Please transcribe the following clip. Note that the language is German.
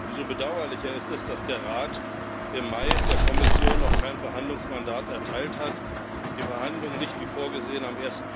Umso bedauerlicher ist es, dass der Rat im Mai der Kommission noch kein Verhandlungsmandat erteilt hat, die Verhandlungen nicht wie vorgesehen am